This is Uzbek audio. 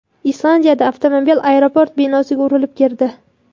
Islandiyada avtomobil aeroport binosiga urilib kirdi.